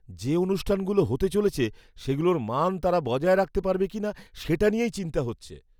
যে অনুষ্ঠানগুলো হতে চলেছে সেগুলোর মান তারা বজায় রাখতে পারবে কিনা সেটা নিয়েই চিন্তা হচ্ছে।